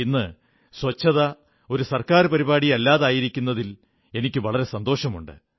ഇന്ന് സ്വച്ഛത ഒരു ഗവൺമെന്റ് പരിപാടി അല്ലാതായിരിക്കുന്നതിൽ എനിക്കു വളരെ സന്തോഷമുണ്ട്